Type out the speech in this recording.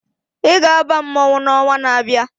Ị ga-aba mmọnwụ n'ọnwa na-abịa!